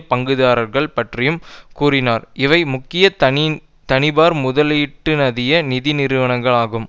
பங்குதாரர்கள் பற்றியும் கூறினார்இவை முக்கிய தனியார் முதலீட்டுநிதிய நிதி நிறுவனங்கள் ஆகும்